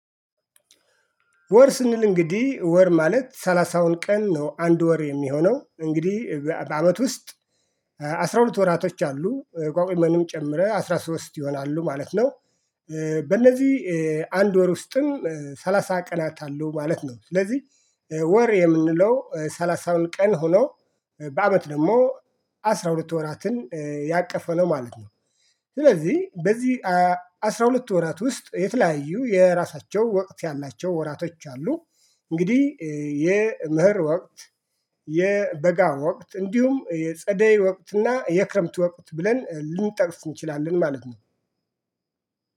ወር ስንል እንግዲህ ወር ማለት ሠላሳውን ቀን ነው አንድ ወር የሚሆነው እንግዲህ በአመት ውስጥ አስራ ሁለት ወራቶች አሉ ቋግሜንም ጨምረህ አስራ ሶስት ይሆናሉ ማለት ነው። በእነዚህ አንድ ወር ውስጥም ሰላሳ ቀናት አለው ማለት ነው ስለዚህ። ወር የምንለው ሠላሳውን ቀን ሆኖ በአመት ደግሞ አስራ ሁለት ወራትን ያቀፈ ነው ማለት ነው። ስለዚህ በዚህ አስራ ሁለት ወራት ውስጥ የተለያዩ የራሳቸው ወቅት ያላቸው ወራቶች አሉ። እንግዲህ የመኸር ወቅት የበጋር ወቅት እንዲሁም የጸደይ ወቅትና የክረምት ወቅት ብለን ልንጠቅስ እንችላለን ማለት ነው።